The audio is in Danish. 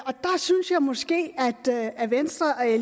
måske at venstre